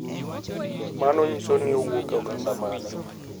Mano nyiso ni owuok e oganda mane,